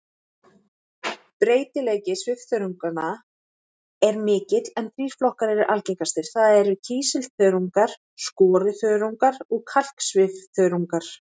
Breytileiki svifþörunganna er mikill en þrír flokkar eru algengastir, það er kísilþörungar, skoruþörungar og kalksvifþörungar.